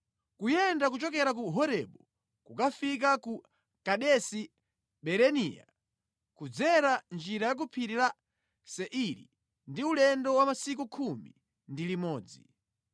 (Kuyenda kuchokera ku Horebu kukafika ku Kadesi Barinea kudzera njira ya ku Phiri la Seiri ndi ulendo wa masiku khumi ndi limodzi).